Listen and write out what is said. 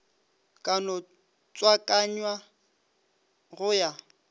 ka no tswakanywa go ya